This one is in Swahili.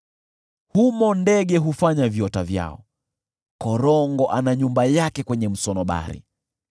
Humo ndege hufanya viota vyao, korongo ana nyumba yake kwenye msunobari.